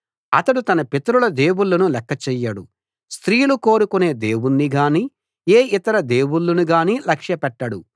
అతడు తన పితరుల దేవుళ్ళను లెక్క చెయ్యడు స్త్రీలు కోరుకునే దేవుణ్ణిగానీ ఏ ఇతర దేవుళ్ళనుగానీ లక్ష్య పెట్టడు